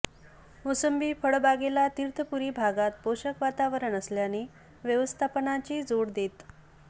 मोसंबी फळबागेला तीर्थपुरी भागात पोषक वातावरण असल्याने व्यवस्थापनाची जोड देत